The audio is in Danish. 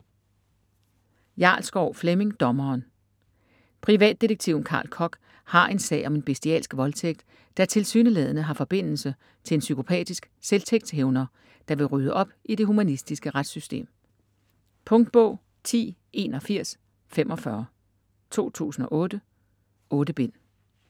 Jarlskov, Flemming: Dommeren Privatdetektiven Carl Kock har en sag om en bestialsk voldtægt, der tilsyneladende har forbindelse til en psykopatisk selvtægtshævner, der vil rydde op i det humanistiske retssystem. Punktbog 108145 2008. 8 bind.